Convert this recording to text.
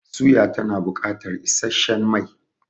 Suya tana bukatar isasshen mai